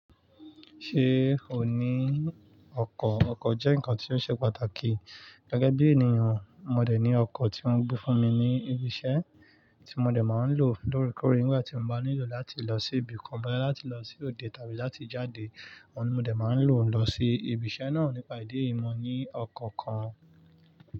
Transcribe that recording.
Ṣé o ní ọkọ̀? Ọkọ̀ jẹ́ ǹkan tí ó ṣe pàtàkì gẹ́gẹ́ bí ènìyàn. Mo dẹ̀ ní ọkọ̀ tí wọ́n gbé fúnmi ní ibi iṣẹ́ tí mo dẹ̀ máa ń lò lóòrèkóòrè nígbà tí mo bá nílò láti lọ sí ibì kan, bóyá láti lọ sí òde tàbí láti jáde. Mo dẹ̀ máa ń lò ó lọ sí ibi iṣẹ́ náà nípa ìdí èyí, mo ní ọkọ̀ kan.